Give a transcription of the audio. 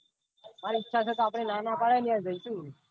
ઈચ્છા હોય તો ના ના પડે ન યાર સુ